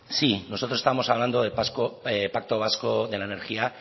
sí nosotros estábamos hablando de pacto vasco de la energía